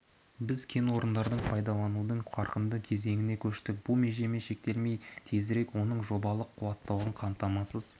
біз кен орындарын пайдаланудың қарқынды кезеңіне көштік бұл межемен шектелмей тезірек оның жобалық қуаттылығын қамтамасыз